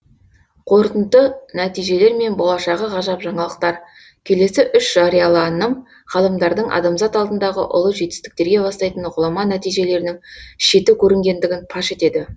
қорытынды нәтижелер мен болашағы ғажап жаңалықтар келесі үш жарияланым ғалымдардың адамзат алдындағы ұлы жетістіктерге бастайтын ғұлама нәтижелерінің шеті көрінгендігін паш етеді